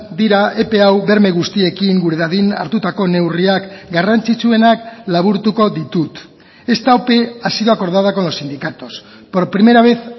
dira epe hau berme guztiekin dadin hartutako neurriak garrantzitsuenak laburtuko ditut esta ope ha sido acordada con los sindicatos por primera vez